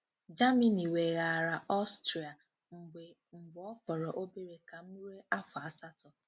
Germany weghaara Austria mgbe mgbe ọ fọrọ obere ka m rue afọ asatọ.